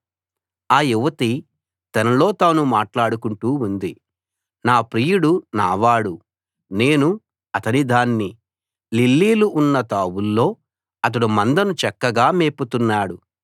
ఆ యువతి తనలో తాను మాట్లాడుకుంటూ ఉంది నా ప్రియుడు నా వాడు నేను అతని దాన్ని లిల్లీలు ఉన్నతావుల్లో అతడు మందను చక్కగా మేపుతున్నాడు